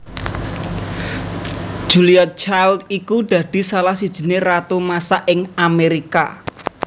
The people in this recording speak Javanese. Julia Child iku dadi salah sijiné ratu masak ing Amerika